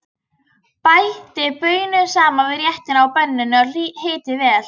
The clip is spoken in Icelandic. Bætið baununum saman við réttinn á pönnunni og hitið vel.